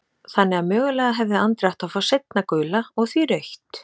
Þannig að mögulega hefði Andri átt að fá seinna gula og því rautt?